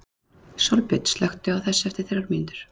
Sólbjörn, slökktu á þessu eftir þrjár mínútur.